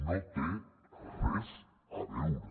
no té res a veure